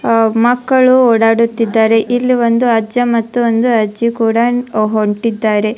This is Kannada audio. ಅಹ್ ಮಕ್ಕಳು ಓಡಾಡುತ್ತಿದ್ದಾರೆ ಇಲ್ಲ್ ಒಂದು ಅಜ್ಜ ಮತ್ತೊಂದು ಅಜ್ಜಿ ಕೂಡ ಹೊಂಟಿದ್ದಾರೆ.